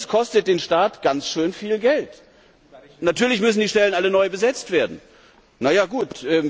Das kostet den Staat ganz schön viel Geld! Natürlich müssen die Stellen alle neu besetzt werden. Na ja, gut.